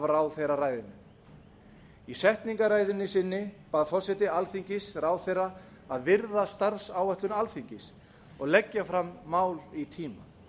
ráðherraræðinu í setningarræðu sinni bað forseti alþingis ráðherra að virða starfsáætlun alþingis og leggja fram mál í tíma